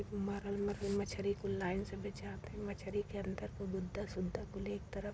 मरल मरल मछली कुल लाइन से बेचात ह मछरी के अंदर के गुदा सुद्धा कुल एक तरफ --